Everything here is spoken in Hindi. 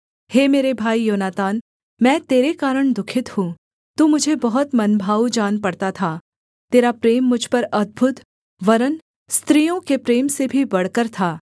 हे मेरे भाई योनातान मैं तेरे कारण दुःखित हूँ तू मुझे बहुत मनभाऊ जान पड़ता था तेरा प्रेम मुझ पर अद्भुत वरन् स्त्रियों के प्रेम से भी बढ़कर था